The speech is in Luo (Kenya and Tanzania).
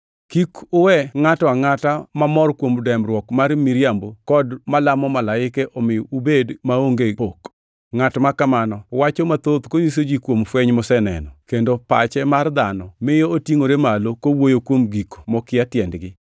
Kik uwe ngʼato angʼata mamor kuom dembruok mar miriambo kod malamo malaike omi ubed maonge pok. Ngʼat makamano wacho mathoth konyiso ji kuom fweny moseneno, kendo pache mar dhano miyo otingʼore malo kowuoyo kuom gik mokia tiendgi.